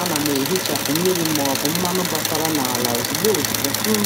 A na m e hichapụ mmiri ma ọ bụ mmanụ gbasara n'ala ozugbo ozugbo um